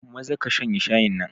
Maza ka shanye shayin nan.